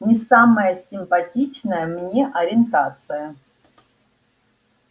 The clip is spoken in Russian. не самая симпатичная мне ориентация